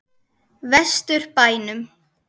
Vestur bænum.